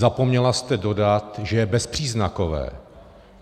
Zapomněla jste dodat, že je bezpříznakové.